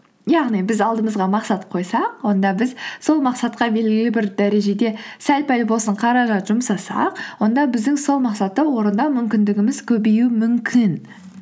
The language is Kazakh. яғни біз алдымызға мақсат қойсақ онда біз сол мақсатқа белгілі бір дәрежеде сәл пәл болсын қаражат жұмсасақ онда біздің сол мақсатты орындау мүмкіндігіміз көбеюі мүмкін